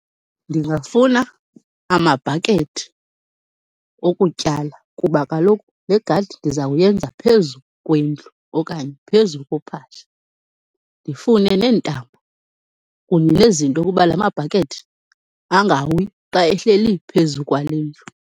Ndingafuna amabhakethi okutyala kuba kaloku le gadi ndizawuyenza phezu kwendlu okanye phezu kophahla. Ndifune neentambo kunye nezinto kuba lamabhakethi angawi xa ehleli phezu kwale ndlu.